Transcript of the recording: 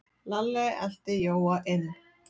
Lalli elti Jóa inn.